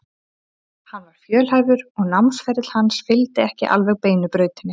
Hann var fjölhæfur og námsferill hans fylgdi ekki alveg beinu brautinni.